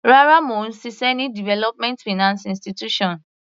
Rárá, mò ń ṣiṣẹ́ ní development finance institution.